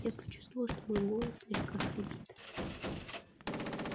я почувствовал что мой голос слегка хрипит